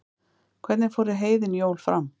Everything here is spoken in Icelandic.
hvernig fóru heiðin jól fram